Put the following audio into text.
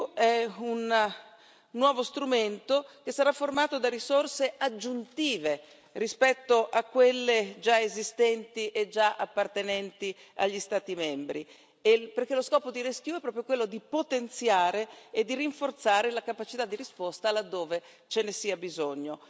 È un nuovo strumento che sarà formato da risorse aggiuntive rispetto a quelle già esistenti e già appartenenti agli Stati membri, perché lo scopo di RescEU è proprio quello di potenziare e di rinforzare la capacità di risposta laddove ce ne sia bisogno.